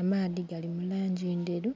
amaadhi gali mu langi ndheru